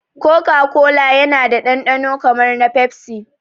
Koka kola yana da dandano kamar na pepsi